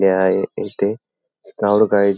आहे येथे scout guide --